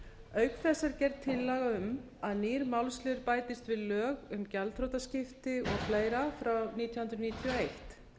auk þess er gerð tillaga um að nýr málsliður bætist við lög um gjaldþrotaskipti og fleira frá nítján hundruð níutíu og eitt